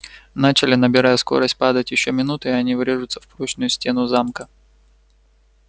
начали набирая скорость падать ещё минута и они врежутся в прочную стену замка